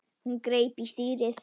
Hún greip í stýrið.